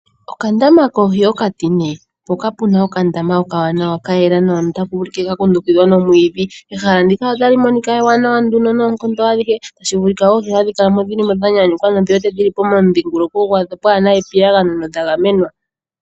Okandama koohi okatine, mpoka pu na okandama okawanawa ka yela nawa notaka ulike ka kundukidhwa nomwiidhi. Ehala ndika otali monika ewanawa noonkondo adhihe, tashi vulika oohi hadhi kala mo dhi li mo dha nyanyukwa nodhi wete dhi li momudhingoloko gwadho pwaa na epiyagano nodha gamenwa.